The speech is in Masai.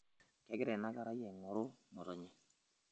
kegira ina kerai aing'oru ngotonye